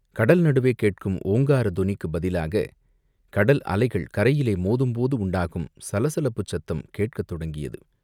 கடல் நடுவே கேட்கும் ஓங்காரத் தொனிக்குப் பதிலாகக் கடல் அலைகள் கரையிலே மோதும்போது உண்டாகும் சலசலப்புச் சத்தம் கேட்கத் தொடங்கியது.